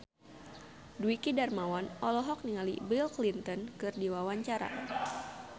Dwiki Darmawan olohok ningali Bill Clinton keur diwawancara